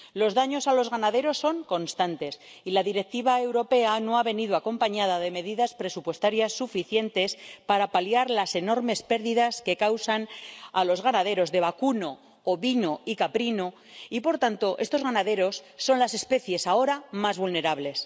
Los daños a los ganaderos son constantes y la Directiva europea no ha venido acompañada de medidas presupuestarias suficientes para paliar las enormes pérdidas que causan a los ganaderos de vacuno, ovino y caprino, y, por tanto, estos ganaderos son las especies ahora más vulnerables.